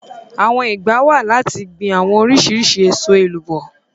Àwọn ìgbà wà láti gbin àwọn oríṣiríṣi èso èlúbọ́.